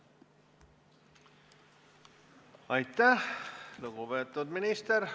Aitäh, lugupeetud minister!